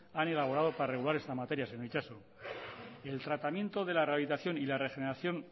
han elaborado para regular esta materia señor itxaso el tratamiento de la rehabilitación y la regeneración